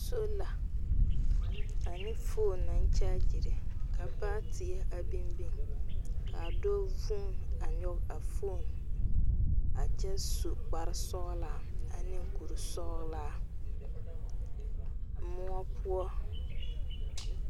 Sola ane foone naŋ kyaagyire kyɛ ka baateɛ a biŋ. Dɔɔ vuunee la a nyog a foone a kyɛ su kparesɔglaa ane kpuresɔglaa.